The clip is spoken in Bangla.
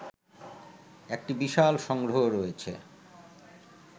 একটি বিশাল সংগ্রহ রয়েছে